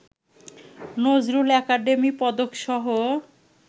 Nazrul academy পদকসহ